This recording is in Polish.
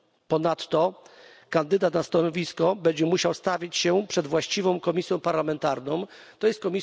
Ponadto kandydat na stanowisko będzie musiał stawić się przed właściwą komisją parlamentarną, tj.